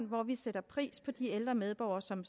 hvor vi sætter pris på de ældre medborgere som